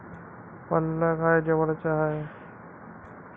पल्ला काय जवळचा हाय